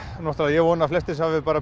ég vona að flestir hafi